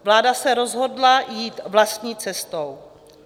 Vláda se rozhodla jít vlastní cestou.